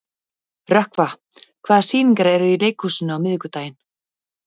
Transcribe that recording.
Rökkva, hvaða sýningar eru í leikhúsinu á miðvikudaginn?